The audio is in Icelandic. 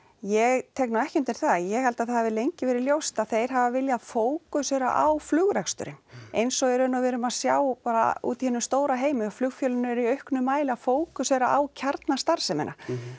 ég tek nú ekki undir það ég held að það hafi lengi verið ljóst að þeir haf viljað fókusera á flugreksturinn eins og í raun og veru við erum að sjá bara úti í hinum stóra heimi að flugfélögin eru í auknum mæli að fókusera á kjarnastarfsemina